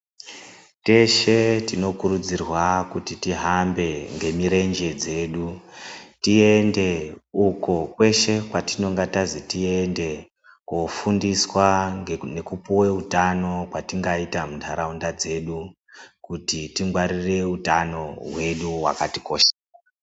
Teshe tinokurudzirwa kuti tihambe nemirenje dzedu. Tiende uko keshe kwatinenga tanzi tiende, kofundiswa ngekupiva hutano hwatingaita mundaraunda dzedu. Kuti tingwaririre utano hwedu hwakatikoshera.